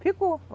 Ficou.